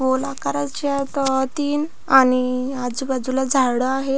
गोल आकारच्या तीन आणि आजूबाजूला झाड आहेत.